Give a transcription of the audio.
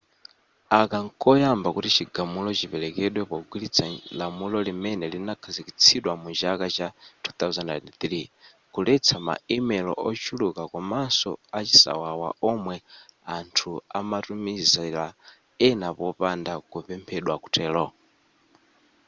aka nkoyamba kuti chigamulo chipelekedwe pogwiritsa lamulo limene linakhazikitsidwa mu chaka cha 2003 kuletsa ma email ochuluka komanso a chisawawa omwe anthu ena amatumizila ena popanda kupemphedwa kutelo